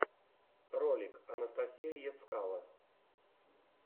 ролик анастасия ецкало